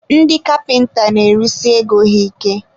ndị kapịnta na-erisi ego ha ike.